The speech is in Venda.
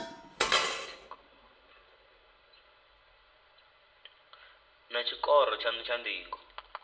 naa tshikoro tshanu tsha ndingo